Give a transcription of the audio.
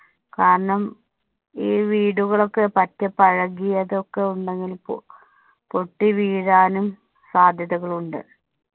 കാരണം ഈ വീടുകളൊക്കെ പട്ട് പഴകിയതൊക്കെ ഉണ്ടെങ്കില്‍ പൊ~പൊട്ടി വീഴാനും സാധ്യതകളുണ്ട്.